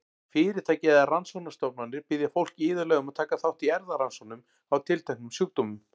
Fyrirtæki eða rannsóknastofnanir biðja fólk iðulega um að taka þátt í erfðarannsóknum á tilteknum sjúkdómum.